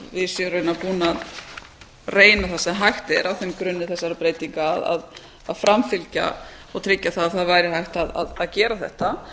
séum raunar búin að reyna það sem hægt er á þeim grunni þessara breytinga að framfylgja og tryggja að það væri hægt að gera þetta